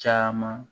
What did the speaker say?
Caman